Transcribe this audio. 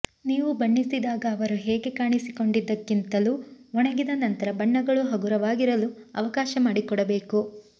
ನೀವು ಬಣ್ಣಿಸಿದಾಗ ಅವರು ಹೇಗೆ ಕಾಣಿಸಿಕೊಂಡಿದ್ದಕ್ಕಿಂತಲೂ ಒಣಗಿದ ನಂತರ ಬಣ್ಣಗಳು ಹಗುರವಾಗಿರಲು ಅವಕಾಶ ಮಾಡಿಕೊಡಬೇಕು